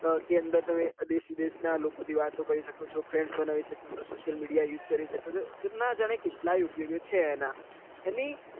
એના અંદર તમે દેશ વિદેશ ના લોકો થી વાતો કરી શકો છો friends બનાવી શકો છો social media use કરી શકો છો નાં જાને કેટલાયે ઉપયોગો છે એના